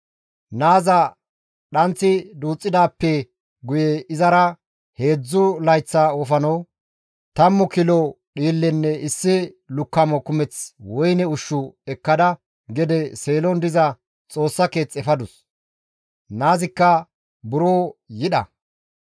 Naazi dhanth duuththidaappe guye izara heedzdzu layththa wofano, tammu kilo dhiillenne issi lukkamo kumeth woyne ushshu ekkada gede Seelon diza Xoossa keeth efadus; naazikka buro yidha.